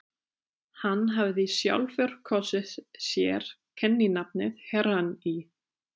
Hann hafði sjálfur kosið sér kenninafnið Herrann í